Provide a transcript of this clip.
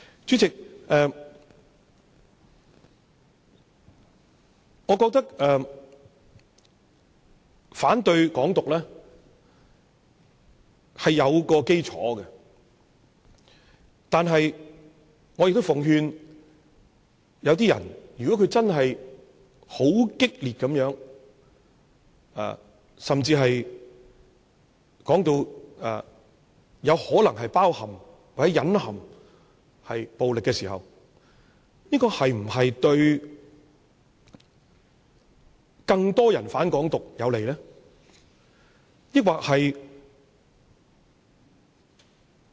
主席，我覺得反對"港獨"是有其基礎，但我也奉勸一些人，如果他真的很激烈，甚至可能包括或隱含暴力時，這是否有利於促使更多人"反港獨"？